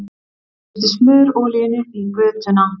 Missti smurolíuna í götuna